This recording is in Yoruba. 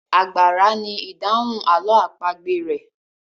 Àgbàrá ni idahun àlọ́ àpagbè rẹ.